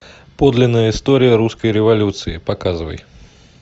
подлинная история русской революции показывай